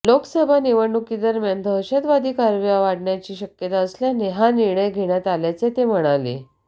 लोकसभा निवडणुकीदरम्यान दहशतवादी कारवाया वाढण्याची शक्यता असल्याने हा निर्णय घेण्यात आल्याचे ते म्हणाले